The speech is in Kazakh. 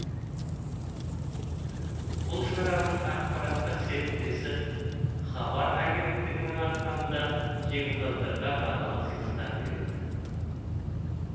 бұл шараның ақпараттық серіктесі хабар агенттігінің атынан да жеңімпаздарға бағалы сыйлықтар берілді